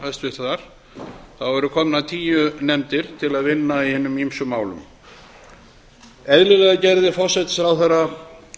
hæstvirtrar ríkisstjórnar væru komnar tíu nefndir til að vinna í hinum ýmsu málum eðlilega gerði forsætisráðherra